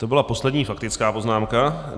To byla poslední faktická poznámka.